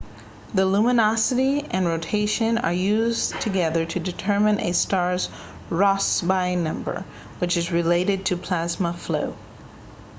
the luminosity and rotation are used together to determine a star's rossby number which is related to plasma flow